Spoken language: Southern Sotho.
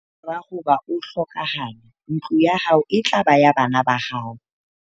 ka mora hoba o hlokahale ntlo ya hao e tla ba ya bana ba hao